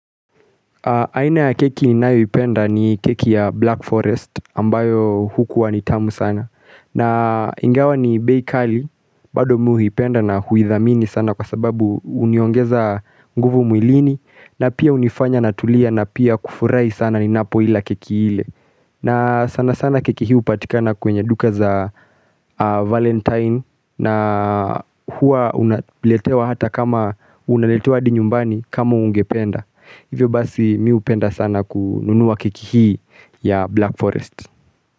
Aina ya keki ninayo ipenda ni keki ya Black Forest ambayo hukuwa ni tamu sana. Na ingawa ni bay kali, bado mi uipenda na huithamini sana kwa sababu uniongeza nguvu mwilini na pia unifanya na tulia na pia kufurai sana ni napo ila keki hile. Na sana sana keki hii hupatikana kwenye duka za Valentine na hua unaletewa hata kama unaletewa adi nyumbani kama ungependa Hivyo basi miupenda sana kununuwa keki hii ya Black Forest.